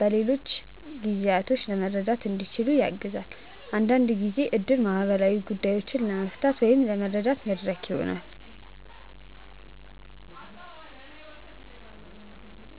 በሌሎች ጊዜዎችም መርዳት እንዲችሉ ያግዛል። አንዳንድ ጊዜ እድር ማህበራዊ ጉዳዮችን ለመፍታት ወይም ለመረዳት መድረክ ይሆናል።